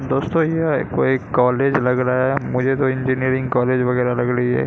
दोस्तों यह कोई एक कॉलेज लग रहा है मुझे तो इंजीनियरिंग कॉलेज वगैरा लग रही है।